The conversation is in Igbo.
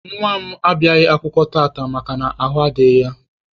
Nwa m abịaghị akwụkwọ tata makana ahụ adịghị ya.